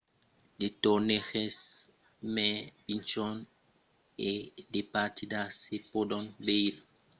de torneges mai pichons e de partidas se pòdon veire tanben aicí a d'autres moments de l'annada